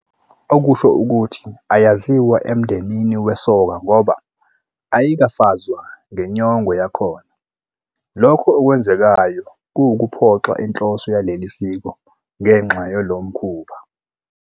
Okusho ukuthi ayaziwa emndenini wesoka ngoba ayikafazwa ngenyongo yakhona. lokhu okwenzekayo kuwukuphoxa inhloso yaleli siko ngenxa yolo mkhuba.